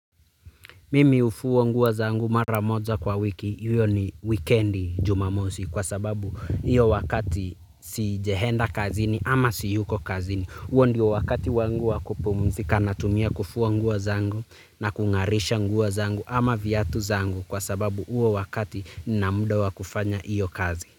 Mimi hufua nguo zangu mara moja kwa wiki, hiyo ni weekend jumamosi kwa sababu hiyo wakati sijahenda kazini ama siyuko kazini. Huo ndio wakati wangu wa kupumzika natumia kufua nguo zangu na kung'arisha nguo zangu ama viatu zangu kwa sababu huo wakati nina muda wa kufanya hiyo kazi.